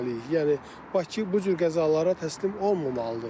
Yəni Bakı bu cür qəzalara təslim olmamalıdır.